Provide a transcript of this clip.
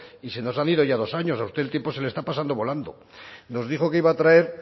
y se nos han ido ya dos años a usted el tiempo se le está pasando volando nos dijo que iba a traer